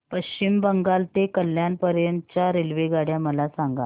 पश्चिम बंगाल ते कल्याण पर्यंत च्या रेल्वेगाड्या मला सांगा